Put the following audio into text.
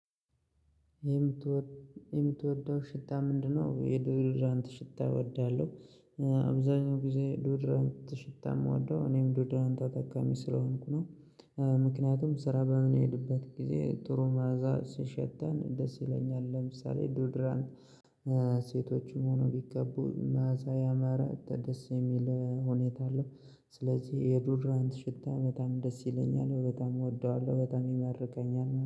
የምትወደው ሽታ ምንድነው? የዶድራንት ሽታ እወዳለሁ አብዛኛው ጊዜ ዶድራን ሽታ የምወደው እኔም ዶድራንት ተጠቃሚ ስለሆንኩ ነው። ምክንያቱም ስራ በምን ሄድበት ጊዜ ጥሩ ማዕዛ ሲሸተን ደስ ይለኛል። ለምሳሌ ዶድራንት ሴቶችም ሆነው ቢቀቡ መዓዛ ያማረ ደስ የሚል ሁኔታ አለው። ስለዚህ የዱድራንት ሽታ በጣም ደስ ይለኛል በጣም እወደዋለሁ በጣም ይማርከኛል።